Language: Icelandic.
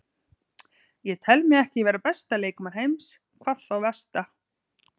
Ég tel mig ekki vera besta leikmann heims, hvað þá versta.